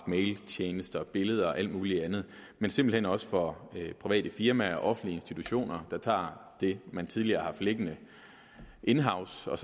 mailtjenester billeder og alt muligt andet men simpelt hen også for private firmaer og offentlige institutioner der tager det man tidligere har haft liggende in house og